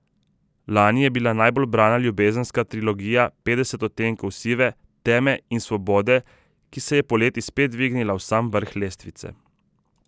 Lani je bila najbolj brana ljubezenska trilogija Petdeset odtenkov sive, teme in svobode, ki se je poleti spet dvignila v sam vrh lestvice.